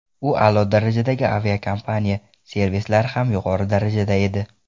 U a’lo darajadagi aviakompaniya, servislari ham yuqori darajada edi.